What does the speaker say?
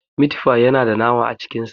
Mit fi yana da nama a cikin sa.